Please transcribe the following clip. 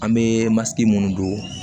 An bɛ masi minnu don